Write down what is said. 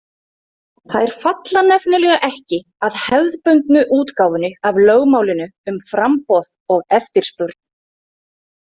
Þær falla nefnilega ekki að hefðbundnu útgáfunni af lögmálinu um framboð og eftirspurn.